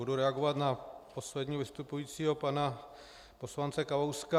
Budu reagovat na posledního vystupujícího, pana poslance Kalouska.